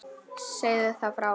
Segðu þá frá.